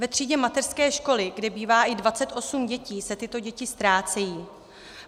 Ve třídě mateřské školy, kde bývá i 28 dětí, se tyto děti ztrácejí.